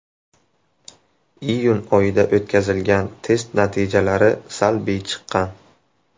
Iyun oyida o‘tkazilgan test natijalari salbiy chiqqan.